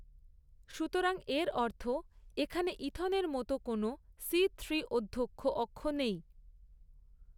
সুতরাং এর অর্থ এখানে ইথনের মতো কোনও সি থ্রি অধ্যক্ষ অক্ষ নেই।